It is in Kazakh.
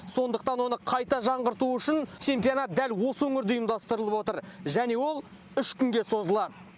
сондықтан оны қайта жаңғырту үшін чемпионат дәл осы өңірде ұйымдастырылып отыр және ол үш күнге созылады